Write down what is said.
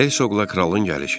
Hey soqla kralın gəlişi.